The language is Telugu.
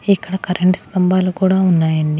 ఇక్కడ కరెంటు స్తంభాలు కూడా వున్నాయ్ అన్నీ.